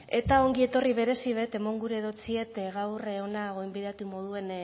eta ongi etorri berezi bet eman gure dotsiet gaur hona gonbidatu moduen